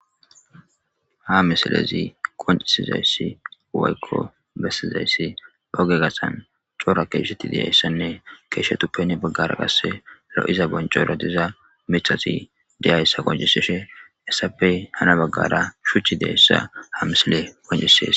Ha misilezi qoncisizayssi uwaykko bessizayssi oge gassan coora keeshetti diyayssanne keeshetuppeni baggara qasse lo'iza boncora diza mithati diyayssa qonciseshe essappey hana baggara shuchi deyayssa ha misile koncisees.